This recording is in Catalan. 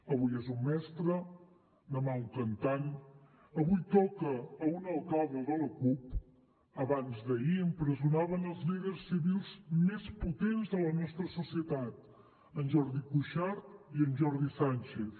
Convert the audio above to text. avui és un mestre demà un cantant avui toca a un alcalde de la cup abans d’ahir empresonaven els líders civils més potents de la nostra societat en jordi cuixart i en jordi sànchez